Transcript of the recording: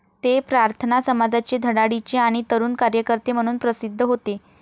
ते प्रार्थना समाजाचे धडाडीचे आणि तरुण कार्यकर्ते म्हणून प्रसिद्ध होते.